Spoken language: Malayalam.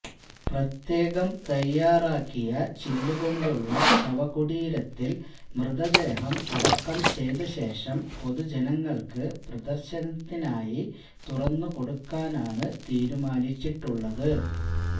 പ്രത്യേകം തയ്യാറാക്കിയ ചില്ലുകൊണ്ടുള്ള ശവകുടീരത്തില് മൃതദേഹം അടക്കം ചെയ്ത ശേഷം പൊതുജനങ്ങള്ക്ക് പ്രദര്ശനത്തിനായി തുറന്നുകൊടുക്കാനാണ് തീരുമാനിച്ചിട്ടുള്ളത്